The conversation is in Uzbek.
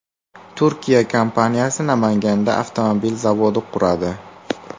Turkiya kompaniyasi Namanganda avtomobil zavodi quradi.